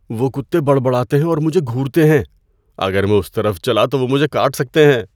وہ کتے بڑبڑاتے ہیں اور مجھے گھورتے ہیں۔ اگر میں اس طرف چلا تو وہ مجھے کاٹ سکتے ہیں۔